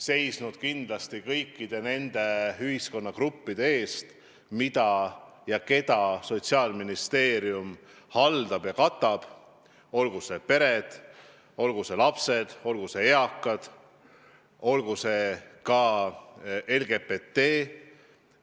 Ta on seisnud kõikide nende ühiskonnagruppide eest, mida ja keda Sotsiaalministeerium haldab ja katab, olgu need pered, olgu need lapsed, olgu need eakad, olgu see LGBT.